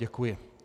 Děkuji.